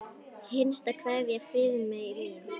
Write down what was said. HINSTA KVEÐJA Friðmey mín.